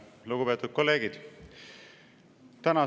Lugupeetud kolleegid!